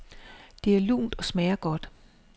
Det er lunt og smager godt.